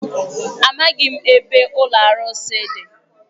Amaghị m ebe ụlọ arụsị dị.